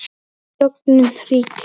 Og þögnin ríkir ein.